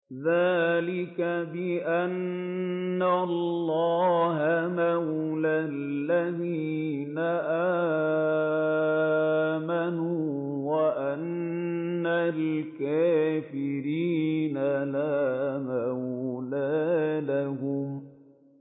ذَٰلِكَ بِأَنَّ اللَّهَ مَوْلَى الَّذِينَ آمَنُوا وَأَنَّ الْكَافِرِينَ لَا مَوْلَىٰ لَهُمْ